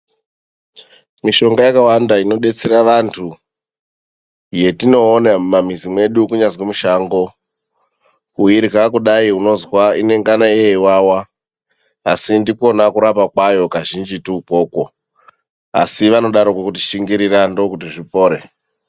Mishonga yakawanda inodetsere vantu yetinoona mumamizi mwedu kunyazwi mushango kuirya kudayi unozwa inengana yeiwawa asi ndikwona kurapa kwayo kazhinjitu ukwokwo asi vanodaro kuti shingirira ndookuti zvipore.